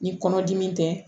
Ni kɔnɔ dimi tɛ